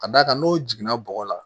Ka d'a kan n'o jiginna bɔgɔ la